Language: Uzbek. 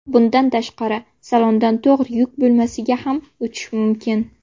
Bundan tashqari, salondan to‘g‘ri yuk bo‘lmasiga ham o‘tish mumkin.